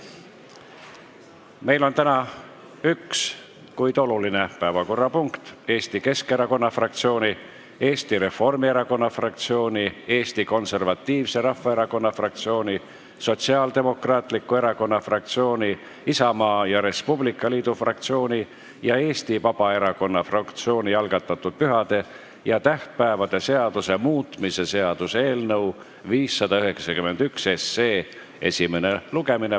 Meil on täna üks, kuid oluline päevakorrapunkt: Eesti Keskerakonna fraktsiooni, Eesti Reformierakonna fraktsiooni, Eesti Konservatiivse Rahvaerakonna fraktsiooni, Sotsiaaldemokraatliku Erakonna fraktsiooni, Isamaa ja Res Publica Liidu fraktsiooni ning Eesti Vabaerakonna fraktsiooni algatatud pühade ja tähtpäevade seaduse muutmise seaduse eelnõu 591 esimene lugemine.